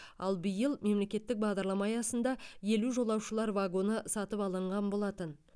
ал биыл мемлекеттік бағдарлама аясында елу жолаушылар вагоны сатып алынған болатын